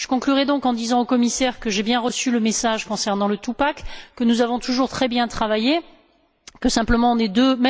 Je conclurai, donc, en disant au commissaire que j'ai bien reçu le message concernant le two pack que nous avons toujours très bien travaillé, mais que, simplement, nous sommes deux.